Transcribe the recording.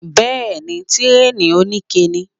Bẹ́ẹ̀ni, Tíréè òní ike ni.